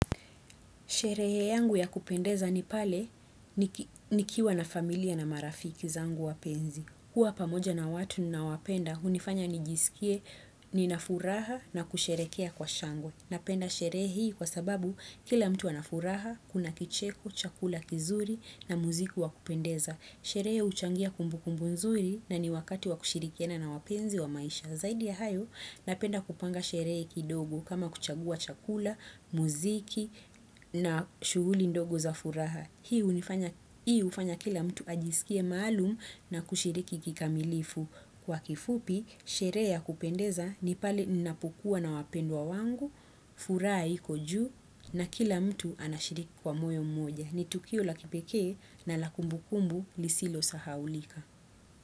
Sherehe yangu ya kupendeza ni pale nikiwa na familia na marafiki zangu wapenzi. Kuwa pamoja na watu ninaowapenda hunifanya nijisikie nina furaha na kusherehekea kwa shangwe. Napenda sherehe hii kwa sababu kila mtu ana furaha, kuna kicheko, chakula kizuri na muziki wa kupendeza. Sherehe huchangia kumbukumbu nzuri na ni wakati wa kushirikiana na wapenzi wa maisha. Zaidi ya hayo, napenda kupanga sherehe kidogo kama kuchagua chakula, muziki na shughuli ndogo za furaha. Hii hufanya kila mtu ajisikie maalumu na kushiriki kikamilifu. Kwa kifupi, sherehe ya kupendeza ni pale ninapokuwa na wapendwa wangu, furaha iko juu na kila mtu anashiriki kwa moyo mmoja. Ni tukio la kipekee na la kumbukumbu lisilosahaulika.